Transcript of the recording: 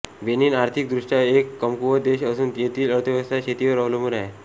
Benin अर्थिक दृष्ट्या एक कमकूवत देश असून येथील अर्थव्यवस्था शेतीवर अवलंबुन आहे